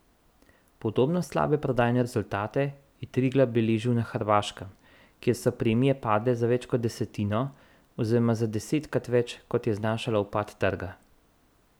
Podobno slabe prodajne rezultate je Triglav beležil na Hrvaškem, kjer so premije padle za več kot desetino oziroma za desetkrat več, kot je znašal upad trga.